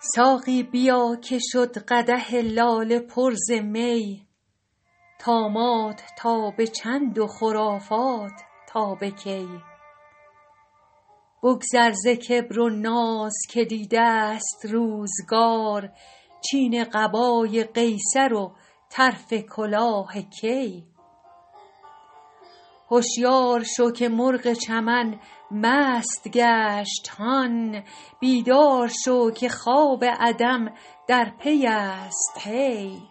ساقی بیا که شد قدح لاله پر ز می طامات تا به چند و خرافات تا به کی بگذر ز کبر و ناز که دیده ست روزگار چین قبای قیصر و طرف کلاه کی هشیار شو که مرغ چمن مست گشت هان بیدار شو که خواب عدم در پی است هی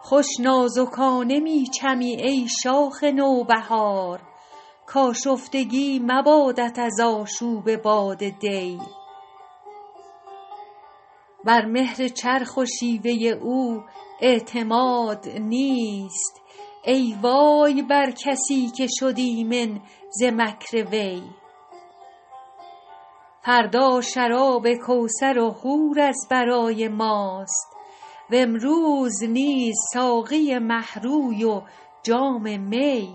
خوش نازکانه می چمی ای شاخ نوبهار کآشفتگی مبادت از آشوب باد دی بر مهر چرخ و شیوه او اعتماد نیست ای وای بر کسی که شد ایمن ز مکر وی فردا شراب کوثر و حور از برای ماست و امروز نیز ساقی مه روی و جام می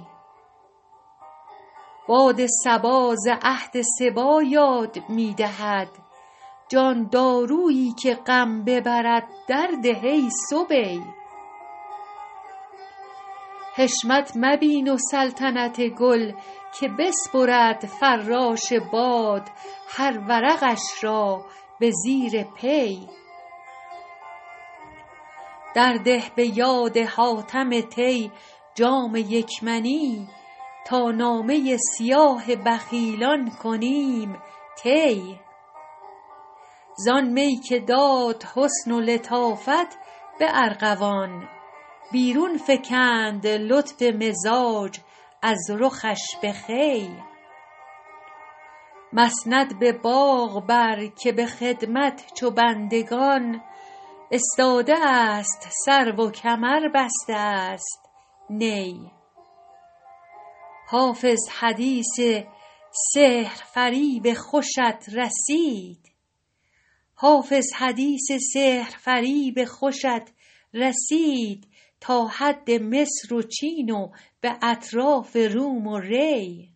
باد صبا ز عهد صبی یاد می دهد جان دارویی که غم ببرد درده ای صبی حشمت مبین و سلطنت گل که بسپرد فراش باد هر ورقش را به زیر پی درده به یاد حاتم طی جام یک منی تا نامه سیاه بخیلان کنیم طی زآن می که داد حسن و لطافت به ارغوان بیرون فکند لطف مزاج از رخش به خوی مسند به باغ بر که به خدمت چو بندگان استاده است سرو و کمر بسته است نی حافظ حدیث سحرفریب خوشت رسید تا حد مصر و چین و به اطراف روم و ری